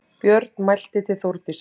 Björn mælti til Þórdísar